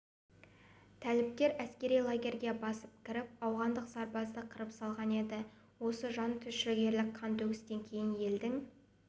тәліптер әскери лагерьге басып кіріп ауғандық сарбазды қырып салған еді осы жантүршігерлік қантөгістен кейін елдің